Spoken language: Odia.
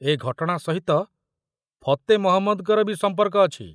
ଏ ଘଟଣା ସହିତ ଫତେ ମହମ୍ମଦଙ୍କର ବି ସମ୍ପର୍କ ଅଛି।